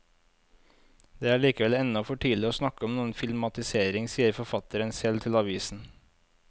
Det er likevel ennå for tidlig å snakke om noen filmatisering, sier forfatteren selv til avisen.